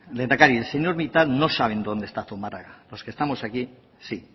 lehendakari arcelormittal no saben dónde está zumarraga los que estamos aquí sí